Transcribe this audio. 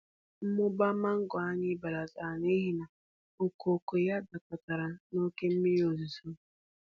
Mmụba mango anyị belatara n’ihi na okooko ya dakọtara na oke mmiri ozuzo.